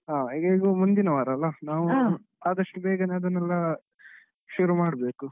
ಹಾ ಹೇಗೂ ಮುಂದಿನ ವಾರ ಅಲ್ಲ ನಾವೂ ಆದಷ್ಟು ಬೇಗನೇ ಅದನ್ನೆಲ್ಲ ಶುರು ಮಾಡ್ಬೇಕು.